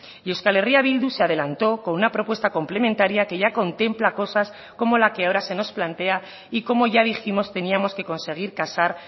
y euskal herria bildu se adelantó con una propuesta complementaria que ya contempla cosas como la que ahora se nos plantea y como ya dijimos teníamos que conseguir casar